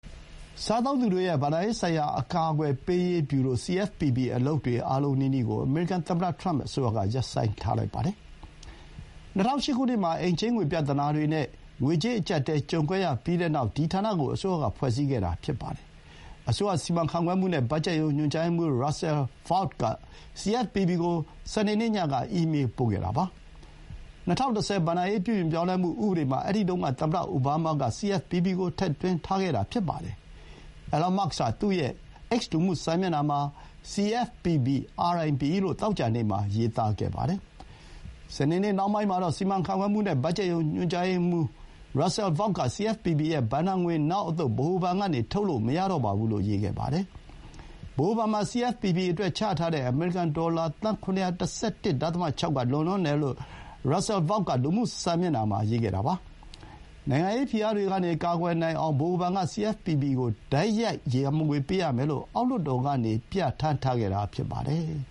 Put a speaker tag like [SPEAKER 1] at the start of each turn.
[SPEAKER 1] စားသုံးသူတွေရဲ့ ဘဏ္ဍာရေးဆိုင်ရာ အကာအကွယ်ပေးရေးဗျူရို (CFPB) အလုပ်တွေ အားလုံးနီးနီးကို အမေရိကန်သမ္မတ ထရမ့် အစိုးရက ရပ်ဆိုင်းလိုက်ပါတယ်။ ၂၀၀၈ ခုနှစ်မှာ အိမ်ချေးငွေ ပြဿနာတွေနဲ့ ငွေကြေးအကြပ်အတည်း ကြုံခဲ့ရပြီးနောက် ဒီဌာနကို အစိုးရက ဖွဲ့စည်းခဲ့တာဖြစ်ပါတယ်။ အစိုးရ စီမံခန့်ခွဲမှုနဲ့ ဘတ်ဂျက်ရုံး ညွှန်ကြားရေးမှူး Russell Vought က CFPB ကို စနေနေ့ညက အီးမေးပို့ခဲ့တာပါ။ ၂၀၁၀ ဘဏ္ဍာရေး ပြုပြင်ပြောင်းလဲမှု ဥပဒေမှာ အဲဒီတုန်းက သမ္မတအိုဘားမားက CFPB ကို ထည့်သွင်းထားခဲ့တာ ဖြစ်ပါတယ်။ အီလွန်မာ့စ်က သူ့ရဲ့ X လူမှုစာမျက်နှာမှာ “CFPB RIP” လို့ သောကြာနေ့မှာ ရေးသားခဲ့ပါတယ်။ စနေနေ့ နှောင်းပိုင်းမှာတော့ စီမံခန့်ခွဲမှုနဲ့ ဘတ်ဂျက်ရုံး ညွှန်ကြားရေးမှူး Russell Vought က CFPB ရဲ့ ဘဏ္ဍာငွေ နောက်အသုတ် ဗဟိုဘဏ်ကနေ ထုတ်လို့ မရတော့ပါဘူးလို့ ရေးခဲ့ပါတယ်။ ဗဟိုဘဏ်မှာ CFPB အတွက် ချထားတဲ့ အမေရိကန်ဒေါ်လာ $711.6 သန်းက လွန်လွန်းတယ်လို့ Russell Vought က လူမှုစာမျက်နှာမှာ ရေးပါတယ်။ နိုင်ငံရေးဖိအားတွေကနေ ကာကွယ်နိုင်အောင် ဗဟိုဘဏ်က CFPB ကို တိုက်ရိုက် ရန်ပုံငွေ ပေးရမယ်လို့ အောက်လွှတ်တော်ကနေ ပြဌာန်းထားခဲ့တာ ဖြစ်ပါတယ်။